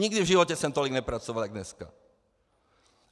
Nikdy v životě jsem tolik nepracoval jako dneska.